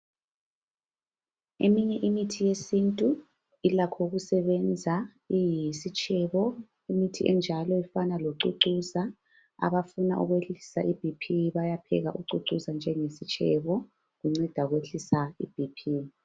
Eminye imithi yesintu ilakho ukusebenza iyisitshebo. lmithi enjalo ifana locucuza. Abafuna ukwehlisa BP bayapheka ucucuza njenge sitshebo. Unceda ukwehlisa iBP.